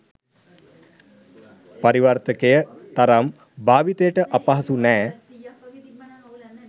පරිවර්තකය තරම් භාවිතයට අපහසු නැහැ.